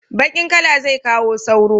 Baƙin kala zai kawo sauro